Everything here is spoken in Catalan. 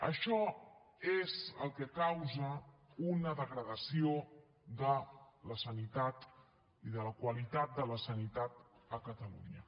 això és el que causa una degradació de la sanitat i de la qualitat de la sanitat a catalunya